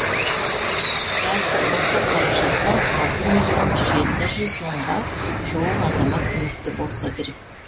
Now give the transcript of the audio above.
жалпы осы қаражаттан алты миллион жеті жүз мыңға жуық азамат үмітті болса керек